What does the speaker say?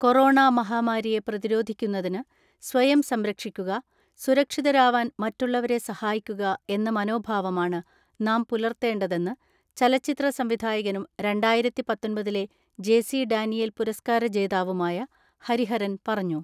Corona മഹാമാരിയെ പ്രതിരോധിക്കുന്നതിന് സ്വയം സംരക്ഷിക്കുക, സുരക്ഷിതരാവാൻ മറ്റുള്ളവരെ സഹായിക്കുക എന്ന മനോഭാവമാണ് നാം പുലർത്തേണ്ടതെന്ന് ചലച്ചിത്ര സംവിധായകനും രണ്ടായിരത്തിപത്തൊൻപത്തിലെ ജെ.സി ഡാനിയേൽ പുരസ്കാര ജേതാവുമായ ഹരിഹരൻ പറഞ്ഞു.